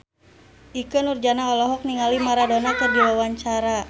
Ikke Nurjanah olohok ningali Maradona keur diwawancara